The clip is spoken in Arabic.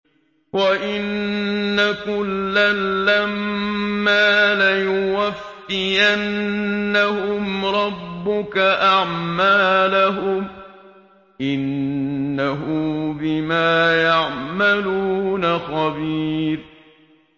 وَإِنَّ كُلًّا لَّمَّا لَيُوَفِّيَنَّهُمْ رَبُّكَ أَعْمَالَهُمْ ۚ إِنَّهُ بِمَا يَعْمَلُونَ خَبِيرٌ